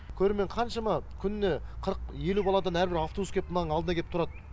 көрермен қаншама күніне қырық елу баладан әрбір автобус кеп мынаның алдына келіп тұрады